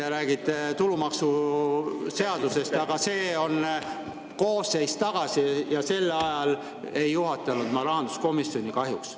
Te räägite tulumaksuseadusest, aga see oli koosseis tagasi ja sel ajal ma kahjuks ei juhtinud rahanduskomisjoni.